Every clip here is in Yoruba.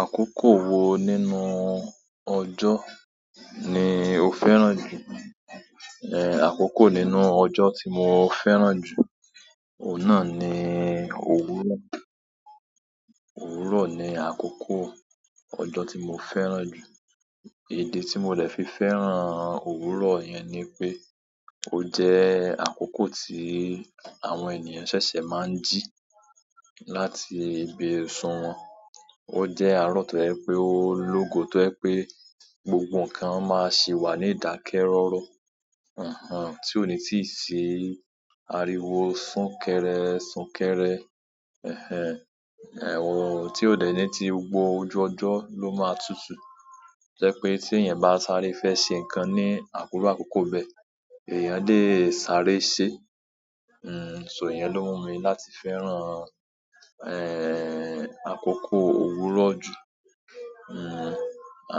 Àkókò wo nínú ọjọ́ ni o fẹ́ràn jù? È, àkókò nínú ọjọ́ tí mo fẹ́ràn jù, òun náà ni òwúrọ̀. Òwúrọ̀ ni àkókò ọjọ́ tí mo fẹ́ràn jù. Idi ti mo de fi fẹ́ràn òwúrọ̀ yen ni pe o je akoko ti àwọn eeyan sese maa n ji láti ibi isun won. Ó jẹ́ àárọ̀ tó ẹ́ pé ó lógo tó ẹ́ pé gbogbo nǹkan máa sì wà ní ìdákẹ́rọ́rọ́. Àhàn, tí òní tíì sí ariwo súnkẹrẹ súnkẹrẹ. Ẹ̀hẹn, un tí ó dẹ̀ ní ti gbogbo ojú ọjọ́ ló máa tutù. Jẹ́ pé tí èèyàn bá sáré fẹ́ ṣe nǹkan ní iru àkókò bẹ́ẹ̀, èèyàn lé sáré ṣe. N, so iyen ló mú mi láti fẹ́ràn, ẹ́ẹ́, àkókò òwúrọ̀ jù. N,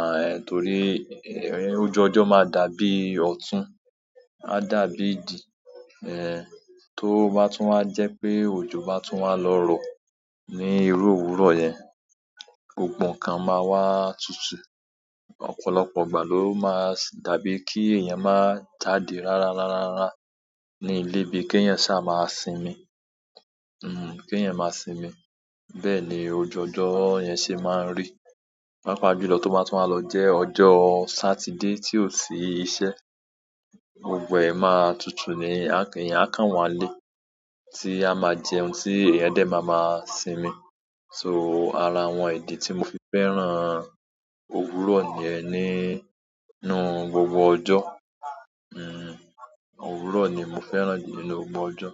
àń, torí, ẹ́ẹ́, ojú ọjọ́ máa dàbí ọ̀tun, á dàbí ìdí. Ẹ̀ẹ́, tó bá tún wá jẹ́ pé òjò bá tún wà lọ́rọ̀ ní irú òwúrọ̀ yẹn, gbogbo nǹkan máa wá tútú. Ọ̀pọ̀lọpọ̀ ìgbà lo ma dàbí ki eeyan ma jáde rara rara rara ni ile bi ki eeyan saa ma sinmi. N, kí ẹ̀yin máa sinmi. Bẹ́ẹ̀ ni òju ọjọ́ yẹn ṣe máa ń rí. Pápá jùlọ tó bá tun wá lọ jẹ́ ọjọ́ Saturday tí ò sí iṣẹ́, gbogbo ẹ̀ máa tutu ni, a kan ẹ̀eyan á kàn wá n lé, tí a máa jẹun tí ẹ̀eyan dé máa ma sinmi. So ara àwọn idi tí mo fi fẹ́ràn òwúrọ̀ niyen nínú gbogbo ọjọ́. N, òwúrọ̀ ni mo fẹ́ràn jù nínú gbogbo ọjọ́.